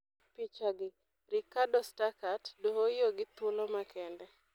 Picha gi: Ricardo Stuckert, Dohoiyo gi thuolo makende.